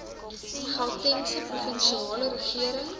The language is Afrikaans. gautengse provinsiale regering